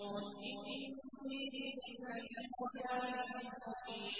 إِنِّي إِذًا لَّفِي ضَلَالٍ مُّبِينٍ